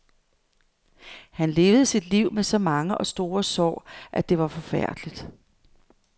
Han levede sit liv med så mange og store sår, at det var forfærdeligt.